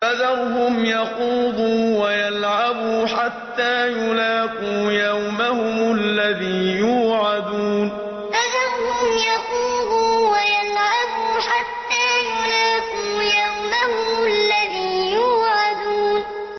فَذَرْهُمْ يَخُوضُوا وَيَلْعَبُوا حَتَّىٰ يُلَاقُوا يَوْمَهُمُ الَّذِي يُوعَدُونَ فَذَرْهُمْ يَخُوضُوا وَيَلْعَبُوا حَتَّىٰ يُلَاقُوا يَوْمَهُمُ الَّذِي يُوعَدُونَ